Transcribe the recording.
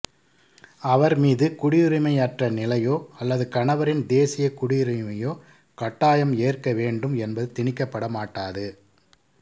அவர் மீது குடியுரிமையற்ற நிலையோ அல்லது கணவரின் தேசியக் குடியுரிமையோ கட்டாயம் ஏற்க வேண்டும் என்பது திணிக்கப்படமாட்டாது